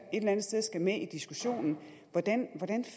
eller andet sted skal med i diskussionen hvordan